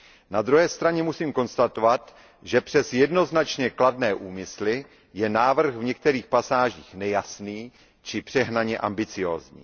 Na druhé straně musím konstatovat, že přes jednoznačně kladné úmysly je návrh v některých pasážích nejasný či přehnaně ambiciózní.